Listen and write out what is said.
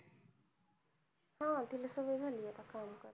हा तिला सवय झालीये आता काम करायची.